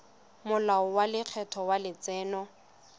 molao wa lekgetho wa letseno